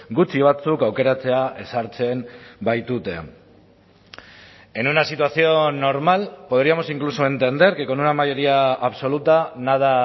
gutxi batzuk aukeratzea ezartzen baitute en una situación normal podríamos incluso entender que con una mayoría absoluta nada